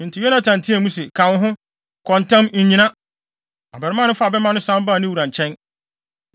Enti Yonatan teɛɛ mu se, “Ka wo ho! Kɔ ntɛm! Nnyina.” Abarimaa no faa bɛmma no san baa ne wura nkyɛn.